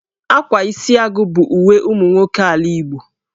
Ákwá Isiagụ bụ uwe ụmụ nwoke ala Igbo